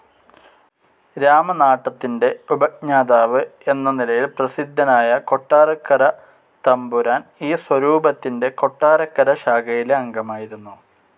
രാമനാട്ടത്തിൻ്റെ ഉപജ്ഞാതാവ് എന്ന നിലയിൽ പ്രസിദ്ധനായ കൊട്ടാരക്കരത്തമ്പുരാൻ ഈ സ്വരൂപത്തിൻ്റെ കൊട്ടാരക്കര ശാഖയിലെ അംഗമായിരുന്നു.